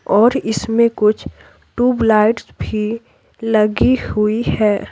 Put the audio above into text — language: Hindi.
और इसमें कुछ ट्यूबलाइट्स भी लगी हुई है।